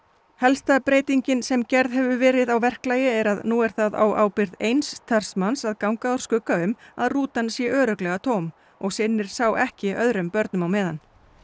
helsta breytingin sem gerð hefur verið á verklagi er að nú er það á ábyrgð eins starfsmanns að ganga úr skugga um að rútan sé örugglega tóm og sinnir sá ekki öðrum börnum á meðan